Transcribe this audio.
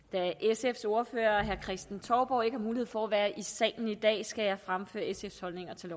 sfs ordfører herre kristen touborg ikke har mulighed for at være i salen i dag skal jeg fremføre sfs holdninger til